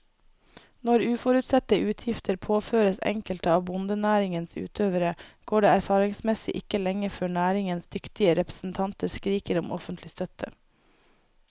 Når uforutsette utgifter påføres enkelte av bondenæringens utøvere, går det erfaringsmessig ikke lenge før næringens dyktige representanter skriker om offentlig støtte.